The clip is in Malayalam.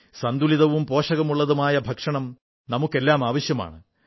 സന്തുലിതവും പോഷകമുള്ളതുമായ ഭക്ഷണം നമുക്കെല്ലാം ആവശ്യമാണ്